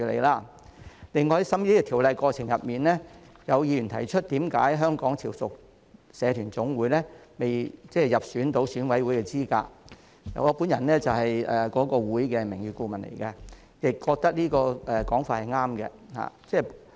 另外，在審議《條例草案》的過程中，有議員提出為何香港潮屬社團總會並未入選成為選舉委員會界別分組的指明實體，我本人是該會的名譽顧問，亦覺得這個說法是對的。